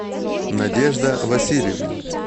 надежда васильевна